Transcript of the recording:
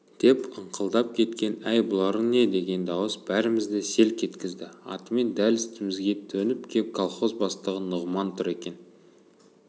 деп ыңқылдап кеткен әй бұларың не деген дауыс бәрімізді селк еткізді атымен дәл үстімізге төніп кеп колхоз бастығы нұғыман тұр екен